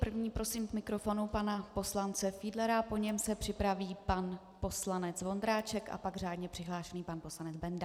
Prvního prosím k mikrofonu pana poslance Fiedlera, po něm se připraví pan poslanec Vondráček a pak řádně přihlášený pan poslanec Benda.